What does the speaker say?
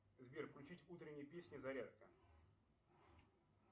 сбер включить утренние песни зарядка